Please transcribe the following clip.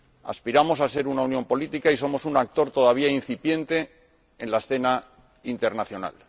Aspiramos a ser una unión política y somos un actor todavía incipiente en la escena internacional.